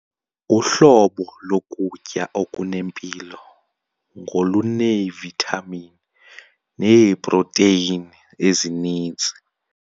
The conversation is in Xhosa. Uhlobo lokutya okunempilo ngoluneevithamini neeprotheyini ezininzi.